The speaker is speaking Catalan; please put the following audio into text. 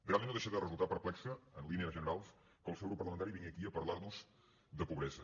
realment no deixa de resultar perplex en línies generals que el seu grup parlamentari vingui aquí a parlar nos de pobresa